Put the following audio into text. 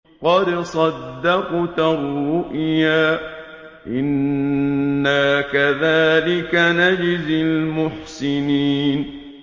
قَدْ صَدَّقْتَ الرُّؤْيَا ۚ إِنَّا كَذَٰلِكَ نَجْزِي الْمُحْسِنِينَ